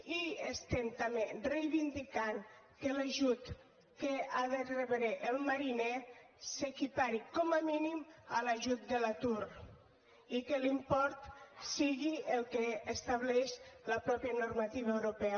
i estem també reivindicant que l’ajut que ha de rebre el mariner s’equipari com a mínim a l’ajut de l’atur i que l’import sigui el que estableix la mateixa normativa europea